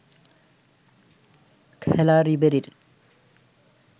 খেলা রিবেরির